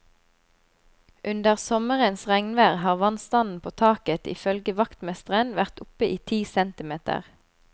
Under sommerens regnvær har vannstanden på taket ifølge vaktmesteren vært oppe i ti centimeter.